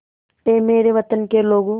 ऐ मेरे वतन के लोगों